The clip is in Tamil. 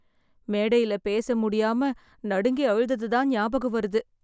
மேடையில பேச முடியாம நடுங்கி அழுதது தான் ஞாபகம் வருது.